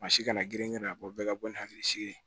Maa si kana girin girin a bɔ bɛɛ ka bɔ ni hakilisigi ye